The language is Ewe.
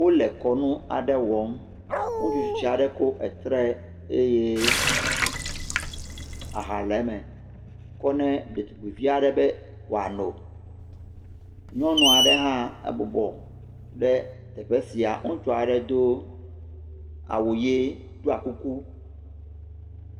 Wole kɔnu aɖe wɔm, ŋutsu tsitsi aɖe kɔ etre eye aha le eme, kɔ ne edetugbui aɖe be woa no. nyɔnua ɖe bɔbɔ ɖe teƒe sia. Ŋutsua ɖe do awu ʋi he ɖɔ kuku.